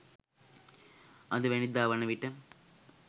අදවැනිදා වන විට